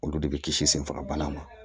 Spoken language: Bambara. Olu de bɛ kisi senfagabana ma